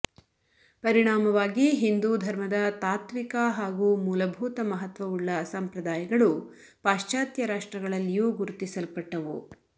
ಪರಿಣಾಮವಾಗಿ ಹಿಂದು ಧರ್ಮದ ತಾತ್ವಿಕ ಹಾಗೂ ಮೂಲಭೂತ ಮಹತ್ವವುಳ್ಳ ಸಂಪ್ರದಾಯಗಳು ಪಾಶ್ಚಾತ್ಯ ರಾಷ್ಟ್ರಗಳಲ್ಲಿಯೂ ಗುರುತಿಸಲ್ಪಟ್ಟವು